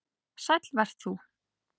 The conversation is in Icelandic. Sæll vert þú